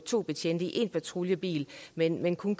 to betjente i én patruljebil men at man kun